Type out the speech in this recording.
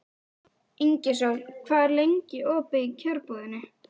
Ingisól, hvað er lengi opið í Kjörbúðinni?